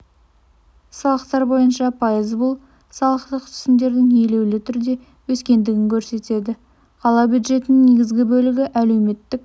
салықтар бойынша пайыз бұл салықтық түсімдердің елеулі түрде өскендігін көрсетеді қала бюджетінің негізгі бөлігі әлеуметтік